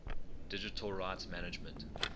digital rights management